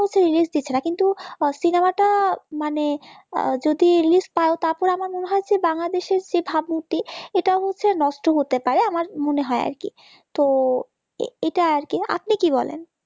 release দিচ্ছে না কিন্তু cinema টা মানে যদি release পায় তারপর আমার মনে হয় যে বাংলাদেশের যে ভাবমূর্তি এটা হচ্ছে নষ্ট হতে পারে আমার মনে হয় আর কি তো এ এটা আর কি আপনি কি বলেন